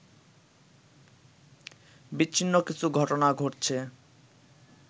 বিচ্ছিন্ন কিছু ঘটনা ঘটছে